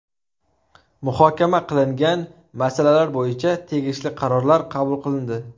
Muhokama qilingan masalalar bo‘yicha tegishli qarorlar qabul qilindi.